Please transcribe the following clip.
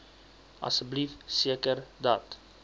asseblief seker dat